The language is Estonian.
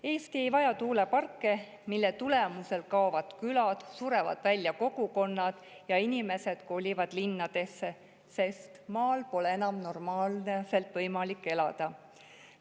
" Eesti ei vaja tuuleparke, mille tulemusel kaovad külad, surevad välja kogukonnad ja inimesed kolivad linnadesse, sest maal pole enam normaalselt võimalik elada.